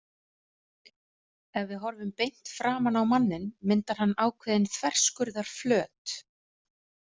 Ef við horfum beint framan á manninn myndar hann ákveðinn þverskurðarflöt.